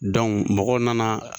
mɔgɔw nana